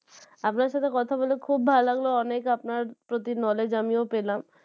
আপনার সাথে কথা বলে খুব ভালো লাগলো অনেক আপনার প্রতি knowledge আমিও পেলাম